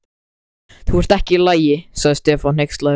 Þú ert ekki í lagi. sagði Stefán hneykslaður.